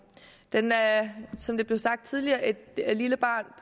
den er som det blev sagt tidligere et lille barn